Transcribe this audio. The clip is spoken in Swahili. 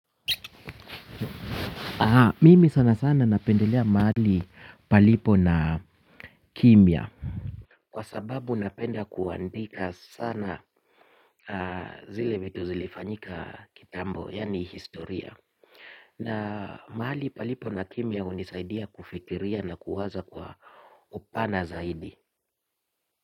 Mimi sana sana napendelea mahali palipo na kimya. Kwa sababu napenda kuandika sana zile vitu zilifanyika kitambo yaani historia. Na mahali palipo na kimya hunisaidia kufikiria na kuwaza kwa upana zaidi.